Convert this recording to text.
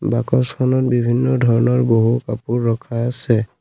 বাকচখনত বিভিন্ন ধৰণৰ বহু কাপোৰ ৰখা আছে।